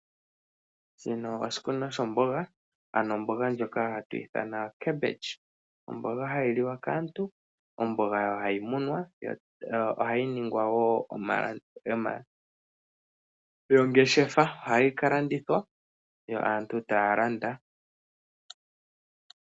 Shino oshikunino shombonga ano ombonga ndjoka hatwithana cabbage, ombonga hayiliwa kaantu ombanga hayimunwa yo ohayiningwa yongeshefa, ohayi kalandithwa yo aantu tayalanda.